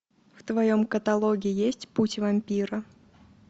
в твоем каталоге есть путь вампира